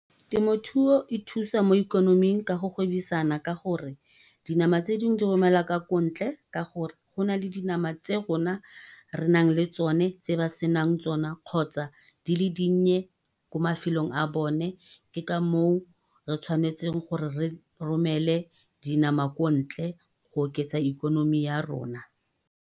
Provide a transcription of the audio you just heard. Temothuo e thusa mo ikonoming ka go gwebisana ka gore, dinama tse dingwe di romela ka kontle ka gore, go na le dinama tse rona re nang le tsone tse ba se nang tsona. Kgotsa di le dinnye ko mafelong a bone, ke ka moo re tshwanetseng gore re romele dinama ko ntle go oketsa ikonomi ya rona.